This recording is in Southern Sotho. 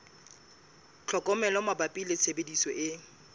tlhokomelo mabapi le tshebediso e